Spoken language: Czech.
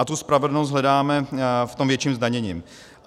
A tu spravedlnost hledáme v tom větším zdanění.